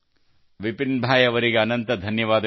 ವಿಪಿನ್ ಭಾಯ್ ಅವರಿಗೆ ಅನಂತ ಧನ್ಯವಾದಗಳು